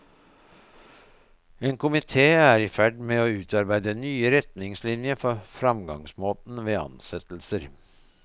En komité er i ferd med å utarbeide nye retningslinjer for fremgangsmåten ved ansettelser.